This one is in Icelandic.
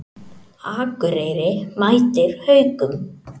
Akureyri mætir Haukum